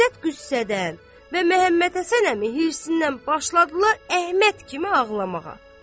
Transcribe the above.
İzzət qüssədən və Məmmədhəsən əmi hirsindən başladılar Əhməd kimi ağlamağa.